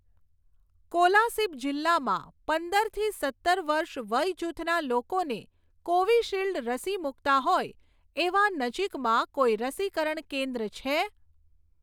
કોલાસિબ જિલ્લામાં પંદરથી સત્તર વર્ષ વયજૂથના લોકોને કોવિશીલ્ડ રસી મૂકતા હોય એવાં નજીકમાં કોઈ રસીકરણ કેન્દ્ર છે?